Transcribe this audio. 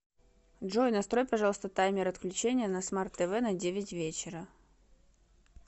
джой настрой пожалуйста таймер отключения на смарт тв на девять вечера